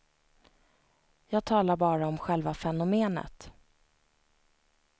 Jag talar bara om själva fenomenet.